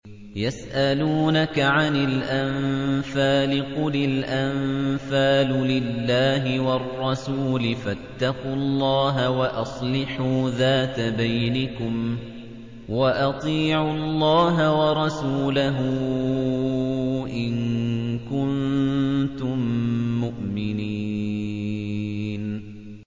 يَسْأَلُونَكَ عَنِ الْأَنفَالِ ۖ قُلِ الْأَنفَالُ لِلَّهِ وَالرَّسُولِ ۖ فَاتَّقُوا اللَّهَ وَأَصْلِحُوا ذَاتَ بَيْنِكُمْ ۖ وَأَطِيعُوا اللَّهَ وَرَسُولَهُ إِن كُنتُم مُّؤْمِنِينَ